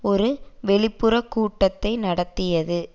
ஒரு வெளிப்புற கூட்டத்தை நடத்தியது